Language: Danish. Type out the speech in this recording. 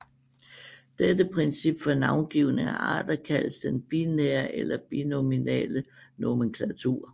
Dette princip for navngivning af arter kaldes den binære eller binominale nomenklatur